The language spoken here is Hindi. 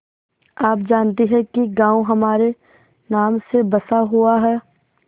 आप जानती हैं कि गॉँव हमारे नाम से बसा हुआ है